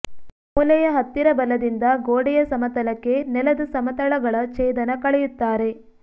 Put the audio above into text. ಮೂಲೆಯ ಹತ್ತಿರ ಬಲದಿಂದ ಗೋಡೆಯ ಸಮತಲಕ್ಕೆ ನೆಲದ ಸಮತಳಗಳ ಛೇದನ ಕಳೆಯುತ್ತಾರೆ